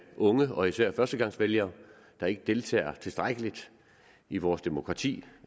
unge og især førstegangsvælgere der ikke deltager tilstrækkeligt i vores demokrati